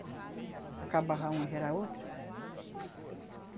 Acabava uma já era outra.